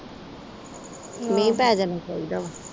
ਮੀਂਹ ਪੈ ਜਾਣਾ ਚਾਹੀਦਾ ਵਾ।